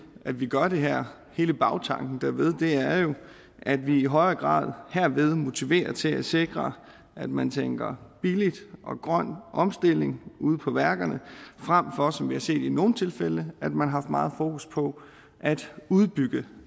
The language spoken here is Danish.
at vi gør det her hele bagtanken derved er jo at vi i højere grad herved motiverer til at sikre at man tænker billig og grøn omstilling ude på værkerne frem for som vi har set i nogle tilfælde at man har meget fokus på at udbygge